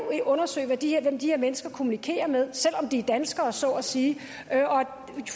undersøge hvem de her mennesker kommunikerer med selv om de er danskere så at sige